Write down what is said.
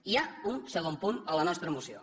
hi ha un segon punt a la nostra moció